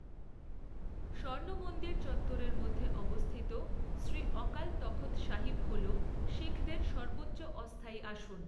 স্বর্ণমন্দির চত্বরের মধ্যে অবস্থিত শ্রী অকাল তখৎ সাহিব হল শিখদের সর্বোচ্চ অস্থায়ী আসন।